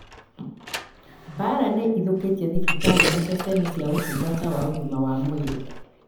mbara nĩ ithũkĩtie thibitarĩ na ceceni cia ũtungata wa ũgima wa mwĩrĩ